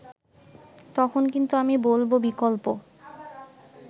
তখন কিন্তু আমি বলব বিকল্প